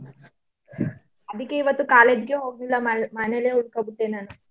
ಅದಿಕ್ಕೆ ಇವತ್ತು college ಗೆ ಹೋಗಿಲ್ಲ ನಾನು ನಮ್ ಮನೇಲೆ ಉಳ್ಕೊoಡ್ ಬಿಟ್ಟೆ ನಾನು.